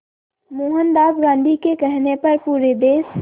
मोहनदास गांधी के कहने पर पूरे देश